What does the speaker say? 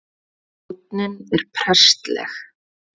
Tónninn er prestleg